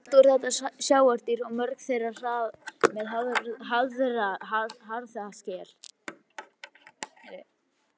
Allt voru þetta sjávardýr og mörg þeirra með harða skel.